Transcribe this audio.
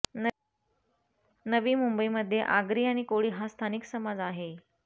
नवी मुंबईमध्ये आगरी आणि कोळी हा स्थानिक समाज आहे